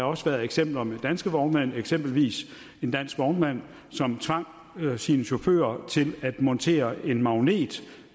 også været eksempler med danske vognmænd eksempelvis en dansk vognmand som tvang sine chauffører til at montere en magnet